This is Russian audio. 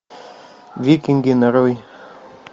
викинги нарой